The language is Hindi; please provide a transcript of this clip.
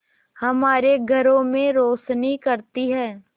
हमारे घरों में रोशनी करती है